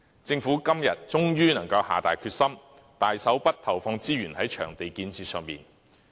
政府今年終於能夠下定決心，投放大筆資源在場地建設上。